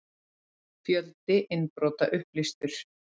Fjöldi innbrota upplýstur